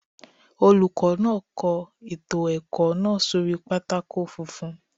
Olùkọ́ náà kọ ètò ẹ̀kọ́ náà sórí pátákó funfun.